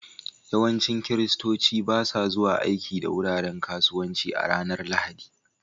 Yawancin Kiristoci ba sa zuwa aiki da wuraren kasuwanci a ranar Lahadi